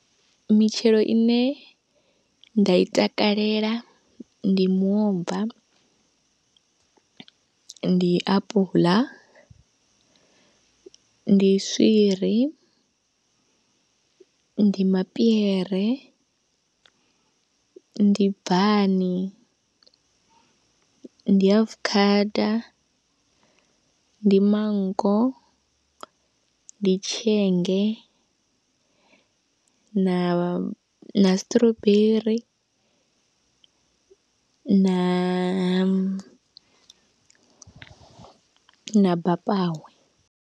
Mitshelo ine nda i takalela ndi muomva, ndi apuḽa, ndi swiri, ndi mapiere, ndi bvani, ndi afukhada, ndi manngo, ndi tshienge, na, na strawberry, na, na bapawe.